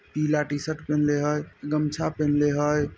पीला टी-शर्ट पिहिन्ले हेय गमछा पिहिन्ले हेय।